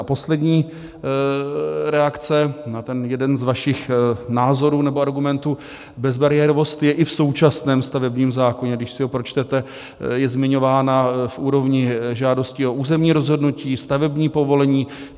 A poslední reakce na ten jeden z vašich názorů nebo argumentů, bezbariérovost je i v současném stavebním zákoně, když si ho pročtete, je zmiňována v úrovni žádostí o územní rozhodnutí, stavební povolení.